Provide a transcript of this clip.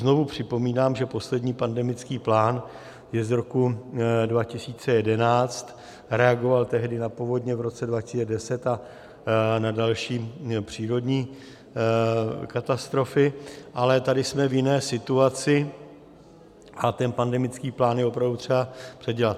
Znovu připomínám, že poslední pandemický plán je z roku 2011, reagoval tehdy na povodně v roce 2010 a na další přírodní katastrofy, ale tady jsme v jiné situaci a ten pandemický plán je opravdu třeba předělat.